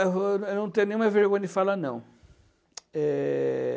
Eu eu não tenho nenhuma vergonha de falar não. Eh...